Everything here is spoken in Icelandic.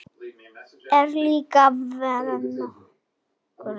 Kolur er líka vinur þeirra.